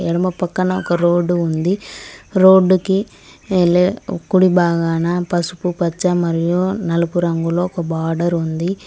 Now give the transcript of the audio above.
ఎడమ పక్కన ఒక రోడ్డు ఉంది రోడ్డుకి కుడి బాగాన పసుపు పచ్చ మరియు నలుపు రంగులో ఒక బార్డర్ ఉంది.